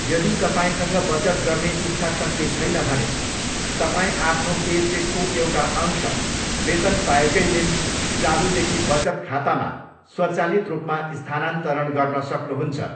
यदि तपाईँसँग बचत गर्ने इच्छाशक्ति छैन भने, तपाईँ आफ्नो पेचेकको एउटा अंश वेतन पाएकै दिन चालुदेखि बचत खातामा स्वचालित रूपमा स्थानान्तरण गर्न सक्नुहुन्छ।